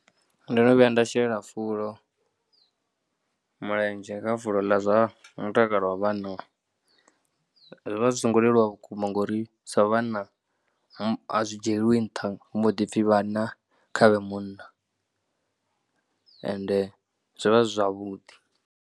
Ndo no vhuya nda shela fulo mulenzhe, kha fulo ḽa zwa mutakalo wa vhanna zwi vha zwi songo leluwa vhukuma ngauri sa vhanna zwi dzhielwi nṱha hu mbo ḓi pfhi vhanna kha vhe munna ende zwo vha zwi zwavhuḓi.